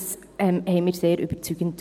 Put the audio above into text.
Dies fanden wir sehr überzeugend.